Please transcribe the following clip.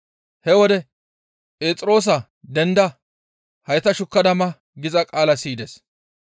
He wode, «Phexroosa denda hayta shukkada ma!» giza qaala siyides.